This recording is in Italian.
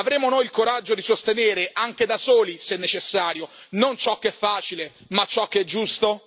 Avremo noi il coraggio di sostenere, anche da soli se necessario, non ciò che è facile ma ciò che è giusto?